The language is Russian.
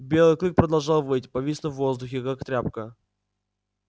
белый клык продолжал выть повиснув в воздухе как тряпка